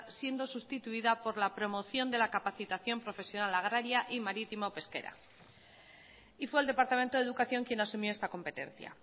siendo sustituida por la promoción de la capacitación profesional agraria y marítimo pesquera y fue el departamento de educación quien asumió esta competencia